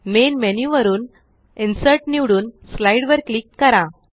main menu वरून insert निवडून slide वर क्लिक करा